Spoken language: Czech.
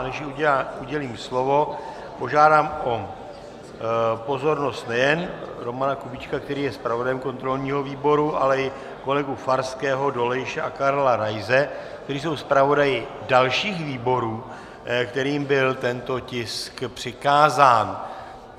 A než jí udělím slovo, požádám o pozornost nejen Romana Kubíčka, který je zpravodajem kontrolního výboru, ale i kolegu Farského, Dolejše a Karla Raise, kteří jsou zpravodaji dalších výborů, kterým byl tento tisk přikázán.